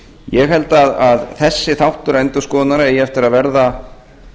ég held að þessi þáttur endurskoðunar eigi eftir að verða